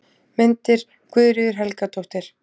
Myndir: Guðríður Helgadóttir.